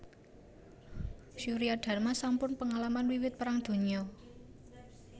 Suryadarma sampun pengalaman wiwit Perang Donya